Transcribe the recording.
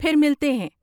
پھر ملتے ہیں۔